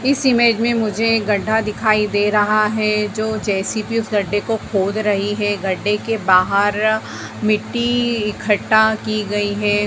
इस इमेज में मुझे एक गड्ढा दिखाई दे रहा हैं जो जेसीपी उस गड्ढे को खोद रही है। गड्डे के बाहर-- मिट्टी इकट्ठा कि गई हैं।